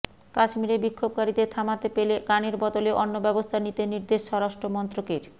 কাশ্মীরে বিক্ষোভকারীদের থামাতে পেলে গানের বদলে অন্য ব্যবস্থা নিতে নির্দেশ স্বরাষ্ট্রমন্ত্রকের